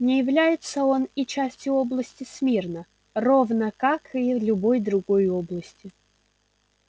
не является он и частью области смирно равно как и любой другой области